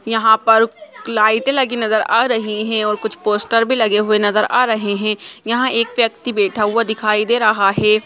यहाँ पर लाइट लगी नजर आ रही है और कुछ पोस्टर भी लगे हुए नजर आ रहे है यहाँ एक व्यक्ति बैठा हुआ दिखाई दे रहा है।